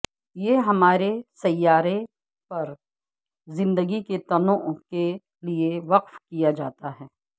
یہ ہمارے سیارے پر زندگی کے تنوع کے لئے وقف کیا جاتا ہے